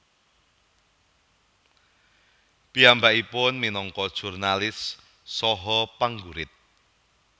Piyambakipun minangka jurnalis saha penggurit